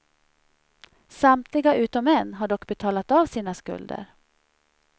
Samtliga utom en har dock betalat av sina skulder.